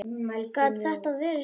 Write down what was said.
Gat þetta verið satt?